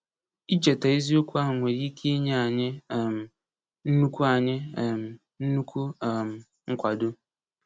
Icheta eziokwu ahụ nwere ike inye anyị um nnukwu anyị um nnukwu um nkwado.